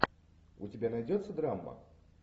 у тебя найдется драма